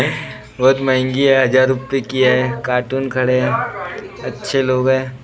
बहुत महंगी है हजार रूपये की है कार्टून खड़े हैं अच्छे लोग हैं।